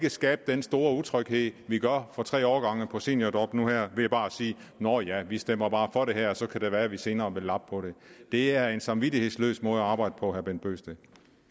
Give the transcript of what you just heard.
at skabe den store utryghed vi gør for tre årgange på seniorjob nu her ved bare at sige nå ja vi stemmer bare for det her og så kan det være at vi senere vil lappe på det det er en samvittighedsløs måde at arbejde på vil bent bøgsted